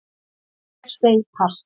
Ég segi pass